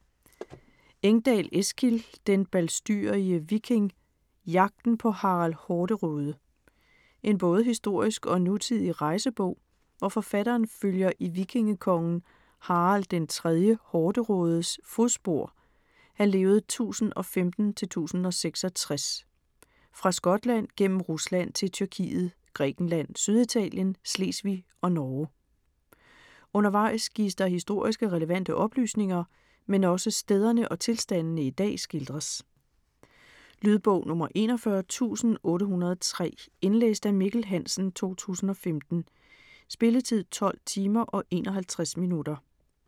Engdal, Eskil: Den balstyrige viking: jagten på Harald Hårderåde En både historisk og nutidig rejsebog, hvor forfatteren følger i vikingekongen Harald 3. Hårderådes (1015-1066) fodspor fra Skotland gennem Rusland til Tyrkiet, Grækenland, Syditalien, Slesvig og Norge. Undervejs gives der historiske, relevante oplysninger, men også stederne og tilstandene i dag skildres. Lydbog 41803 Indlæst af Mikkel Hansen, 2015. Spilletid: 12 timer, 51 minutter.